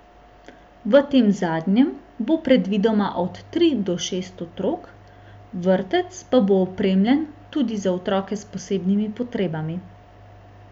V tem zadnjem bo predvidoma od tri do šest otrok, vrtec pa bo opremljen tudi za otroke s posebnimi potrebami.